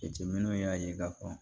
Jateminɛw y'a ye k'a fɔ